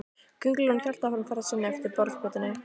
Kóngulóin hélt áfram ferð sinni eftir borðplötunni.